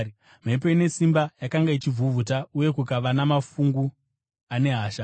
Mhepo ine simba yakanga ichivhuvhuta uye kukava namafungu ane hasha.